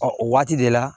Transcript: Ɔ o waati de la